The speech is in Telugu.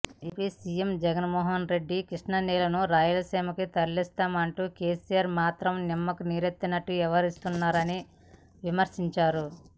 AP CM YS Jaganmohan Reddy Krishna నీళ్లను రాయలసీమకు తరలిస్తామంటే కేసీఆర్ మాత్రం నిమ్మకు నీరెత్తినట్టు వ్యవహరిస్తున్నారని విమర్శించారు